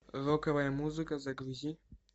роковая музыка загрузи